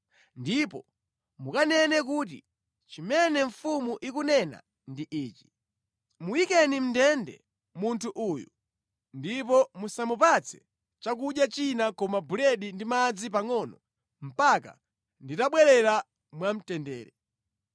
ndipo mukanene kuti, ‘Chimene mfumu ikunena ndi ichi; Muyikeni mʼndende munthu uyu ndipo musamupatse chakudya china koma buledi ndi madzi pangʼono mpaka nditabwerera mwamtendere.’ ”